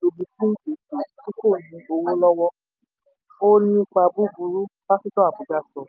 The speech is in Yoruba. gbowo lowo, ó nípa búburú pásítọ̀ abuja sọ.